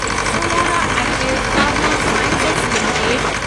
Solara active pharma sciences limited